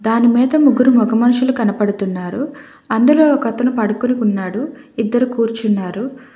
మను మీద ముగరు మాగా మనుషులు కనపడుతున్నారు అందులో ఒకతను పడుకొని ఉన్నాడు ఇద్దరు కూర్చున్నారు.